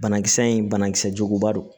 Banakisɛ in banakisɛ juguba don